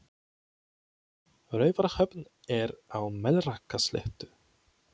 Raufarhöfn er á Melrakkasléttu.